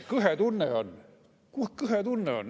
Kõhe tunne on.